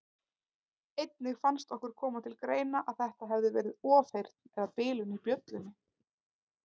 Einnig fannst okkur koma til greina að þetta hefði verið ofheyrn eða bilun í bjöllunni.